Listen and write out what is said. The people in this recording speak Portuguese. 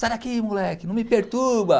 Sai daqui, moleque, não me perturba.